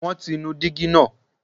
won ti ní digi naa